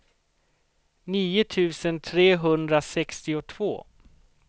nio tusen trehundrasextiotvå